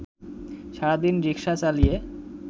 সারাদিন রিক্সা চালিয়ে